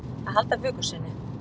Að halda vöku sinni